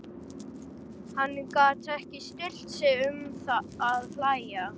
Hann gat ekki stillt sig um að hlæja.